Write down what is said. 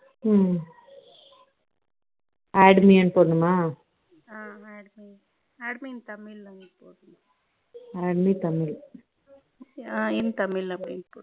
add me என்று போடணுமா add me in tamil னு add me tamil in tamil